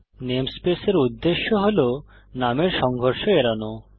namespace এর উদ্দেশ্য হল নামের সংঘর্ষ এড়ানো